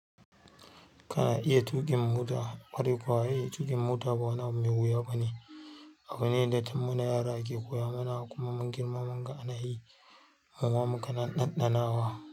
Kana iya tuƙin mota, kwarai kuwa ai tuƙin mota ba wani abu mai wuya ba ne. Abu ne da tum mana yara ake koya mana kuma mun girma munga ana yi, mara muka ɗanɗanawa,